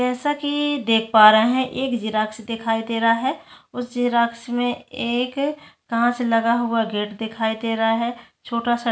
जैसा कि देख पा रहा है एक जेरॉक्स दिखाई दे रहा है उस जेरॉक्स में एक कांच लगा हुआ गेट दिखाई दे रहा है छोटा-सा--